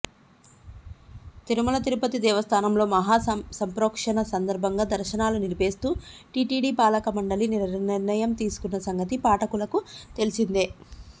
తిరుమల తిరుపతి దేవస్థానంలో మహాసంప్రోక్షణ సందర్భంగా దర్శనాలు నిలిపేస్తూ టిటిడి పాలకమండలి నిర్ణయం తీసుకున్న సంగతి పాఠకులకు తెలిసిందే